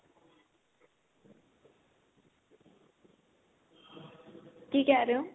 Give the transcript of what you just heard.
ਕੀ ਕਹਿ ਰਹੇ ਹੋ